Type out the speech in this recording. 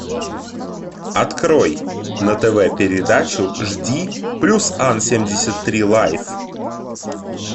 открой на тв передачу жди плюс ан семьдесят три лайф